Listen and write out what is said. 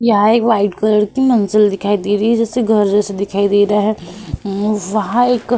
यहाँ एक white colour की मंजिल दिखाई दे रही है। जैसे घर जैसा दिखाई दे रहा है। उम वहां एक --